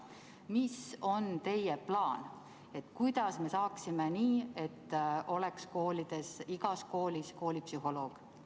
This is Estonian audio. Mis on teie plaan, kuidas me saaksime nii, et igas koolis oleks koolipsühholoog?